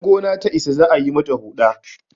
idan gona ta Isa za a yi mata Huɗa